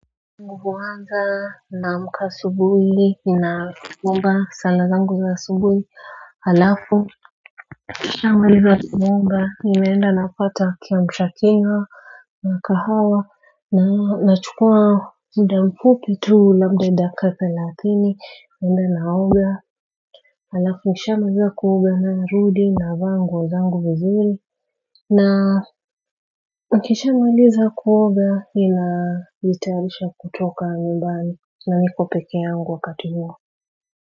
Huanza namka asubuhi nafunga sala zangu za sabuhi alafu Kishamaliza kuomba nimeenda napata kiamshakinywa Nakahawa na nachukua muda mfupi tu labda dakika thelathini naenda naoga alafu nikishamaliza kuoga na rudi na vanguo zangu vizuri na nikisha maliza kuoga nina jitayalisha kutoka nyumbani na nikopekee yangu wakati huo.